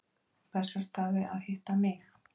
Bessastaði að hitta mig?